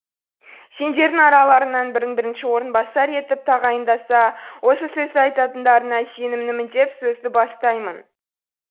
сендердің араларыңнан бірін бірінші орынбасар етіп тағайындаса осы сөзді айтатындарыңа сенімімін деп сөзді бастаймын